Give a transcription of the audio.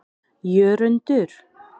Jörundur